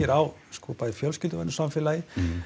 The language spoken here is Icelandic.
á bæði fjölskylduvænu samfélagi